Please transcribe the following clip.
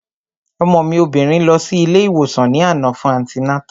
Ọmọ mi obìnrin lọ sí ilé ìwòsàn ní àná fún antinátà